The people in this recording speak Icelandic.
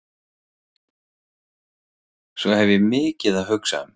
Svo ég hef mikið að hugsa um.